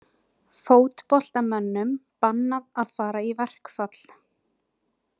Fótboltamönnum bannað að fara í verkfall